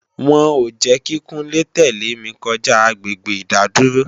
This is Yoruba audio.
Wọn ò jẹ́ kí Kúnlé tẹ̀lé mi kọjá agbègbè ìdádúró